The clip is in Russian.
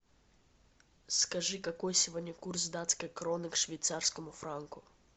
скажи какой сегодня курс датской кроны к швейцарскому франку